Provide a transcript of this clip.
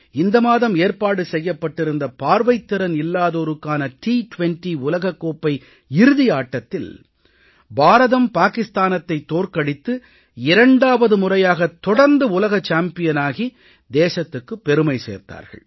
இந்த மாதம் ஏற்பாடு செய்யப்பட்டிருந்த பார்வைத் திறன் இல்லாதோருக்கான டி20 உலகக் கோப்பை இறுதி ஆட்டத்தில் பாரதம் பாகிஸ்தானத்தைத் தோற்கடித்து 2வது முறையாக தொடர்ந்து உலக சாம்பியனாகி தேசத்துக்குப் பெருமை சேர்த்தார்கள்